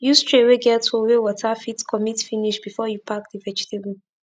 use tray wey get hole wey water fit commit finish before u pack d vegetable